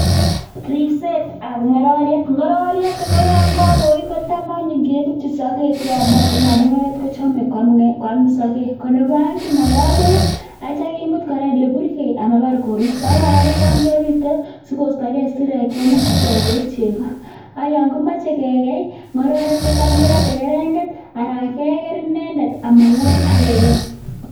Ribsetab ng'ororiet, ng'ororiet ko yoon ko koii kotam anyun kebutyin sokek cheyomotin amun ng'ororiet kochome kwaam sokek, ko nebo oeng kinoko beek akityo kimut kora eleburkei ambar koristo ak kora kotam kebite sikostokee isirek chemuch ichek koib chekoo ak yoon kimoche kekeii ng'ororek kotam kerote kereng'et aran keker inendet amalabat ak kekeii.